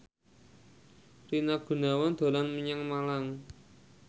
Rina Gunawan dolan menyang Malang